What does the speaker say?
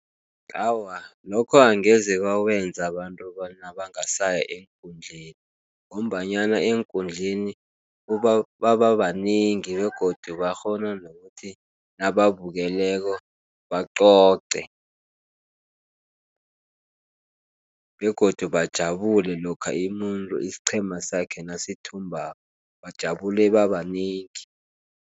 Awa, lokho angeze kwakwenza abantu bona bangasaya eenkundleni, ngombanyana eenkundleni bababanengi, begodu bakghona nokuthi nababukeleko bebacoce, begodu bajabule lokha umuntu isiqhema sakhe nasithumbako, bajabule babanengi.